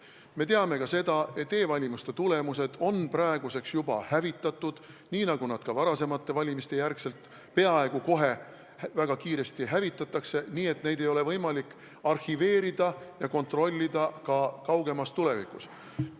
Me teame ka seda, et e-hääled on praeguseks juba hävitatud, nii nagu nad ka pärast varasemaid valimisi peaaegu kohe, väga kiiresti hävitati, nii et neid ei ole võimalik arhiveerida ega kaugemas tulevikus kontrollida.